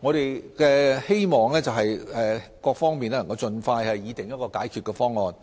我們希望各方能盡快擬訂一項解決方案，